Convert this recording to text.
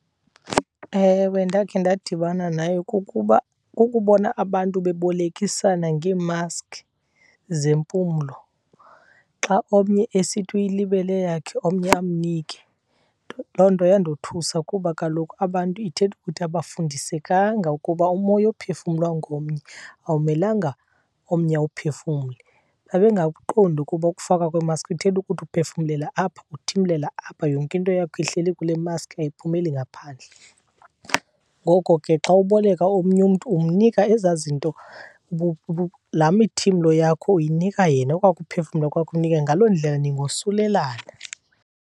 Ewe, ndakhe ndadibana nayo. Kukuba kukubona abantu bebolekisana ngeemaskhi zempumlo, xa omnye esithi uyilibele eyakhe omnye amnike. Loo nto yandothusa kuba kaloku abantu ithetha ukuthi abafundisekanga ukuba umoya ophefumlwa ngomnye awumelanga omnye awuphefumle. Babengakuqondi ukuba ukufakwa kweemaskhi kuthetha ukuthi uphefumlela apha uthimlela apha, yonke into yakho ihleli kule maskhi ayiphumeleli ngaphandle. Ngoko ke xa uboleka omnye umntu umnika ezaa zinto , laa mithimlo yakho uyinika yena, okwaa kuphefumla kwakho ukunika yena. Ngaloo ndlela ningosulelana.